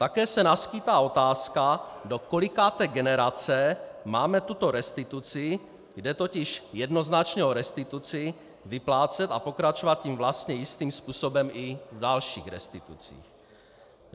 Také se naskýtá otázka, do kolikáté generace máme tuto restituci - jde totiž jednoznačně o restituci - vyplácet a pokračovat tím vlastně jistým způsobem i v dalších restitucích.